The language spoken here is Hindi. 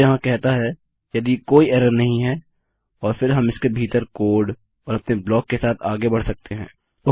यह यहाँ कहता है यदि कोई एरर नहीं हैं और फिर हम इसके भीतर कोड और अपने ब्लाक के साथ आगे बढ़ सकते हैं